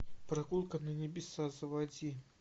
прогулка на небеса заводи